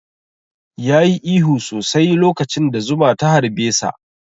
Ya yi ihu sosai lokacin da zuma ta harɓe sa